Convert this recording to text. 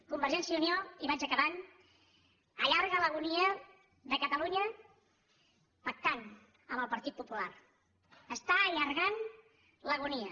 convergència i unió i vaig acabant allarga l’agonia de catalunya pactant amb el partit popular està allargant l’agonia